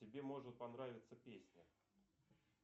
тебе может понравится песня